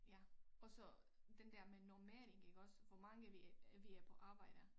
Ja og så den der med normering iggås hvor mange vi øh vi er på arbejde